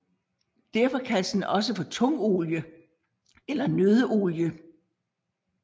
Derfor kaldes den også for tungolie eller nøddeolie